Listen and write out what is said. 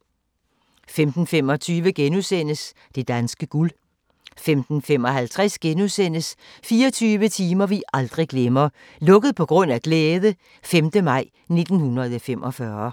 15:25: Det danske guld * 15:55: 24 timer vi aldrig glemmer - "Lukket på grund af glæde" - 5. maj 1945